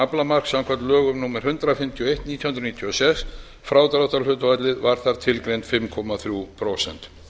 aflamark samkvæmt lögum númer hundrað fimmtíu og eitt nítján hundruð níutíu og sex frádráttarhlutfallið var þar tilgreint fimm komma þrjú prósent